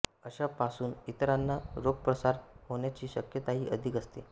अशा पासून इतराना रोगप्रसार होण्याची शक्यताही अधिक असते